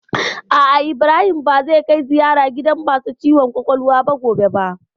A'a, Ibrahim ba zai kai ziyara gidan masu ciwon kwakwalwa gobe ba